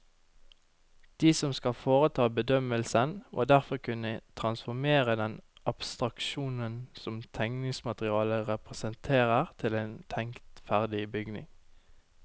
De som skal foreta bedømmelsen, må derfor kunne transformere den abstraksjonen som tegningsmaterialet representerer til en tenkt ferdig bygning.